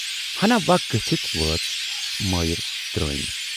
ہَنا وَق گٔژھِتھ وٲژ مایرِ ترٲمۍ۔